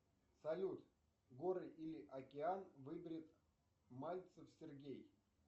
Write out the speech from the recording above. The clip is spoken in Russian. салют горы или океан выберет мальцев сергей